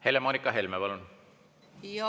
Helle-Moonika Helme, palun!